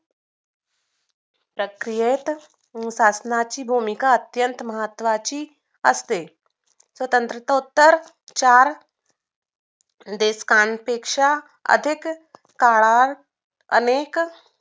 प्रक्रियेत शासनाची भूमिका अत्यंत महत्वाची असते स्वातंत्रोत्तर चार देशांपेक्षा आधिक काळात अनेक